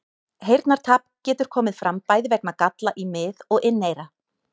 Heyrnartap getur komið fram bæði vegna galla í mið- og inneyra.